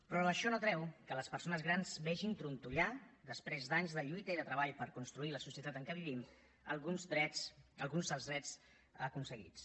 però això no treu que les persones grans vegin trontollar després d’anys de lluita i de treball per construir la societat en què vivim alguns dels drets aconseguits